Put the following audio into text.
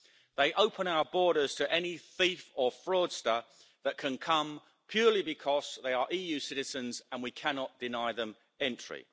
They open our borders to any thief or fraudster that can come purely because they are EU citizens and we cannot deny them entry.